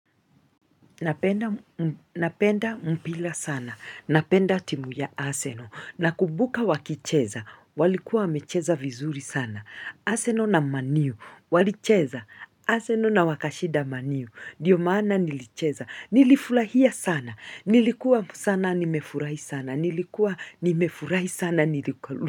Napenda mpila sana. Napenda timu ya aseno. Na kubuka wakicheza. Walikuwa wamecheza vizuri sana. Aseno na maniu. Walicheza. Aseno na wakashida maniu. Dio maana nilicheza. Nilifulahia sana. Nilikuwa sana nimefurahi sana. Nilikuwa.